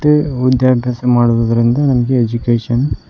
ಲಿ ಓದ್ದೆ ಅಭ್ಯಾಸ ಮಾಡುವುದರಿಂದ ನಮಗೆ ಎಜುಕೇಶನ್ --